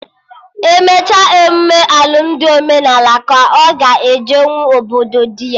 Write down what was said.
Emecha emụme alụmdi omenala ka ọ ga ejenwu obodo dị ya